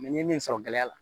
n ye min sɔrɔ gɛlɛya la